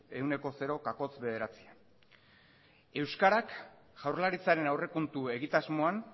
bakoitzak ehuneko zero koma euskarak jaurlaritzaren aurrekontu egitasmoan